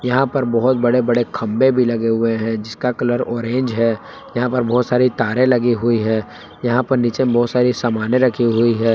यहां पर बहुत बड़े बड़े खंबे भी लगे हुए हैं जिसका कलर ऑरेंज है यहां पर बहुत सारी तारें लगी हुई है यहां पर नीचे बहुत सारी सामानें रखी हुई है।